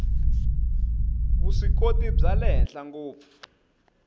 vuswikoti bya le henhla ngopfu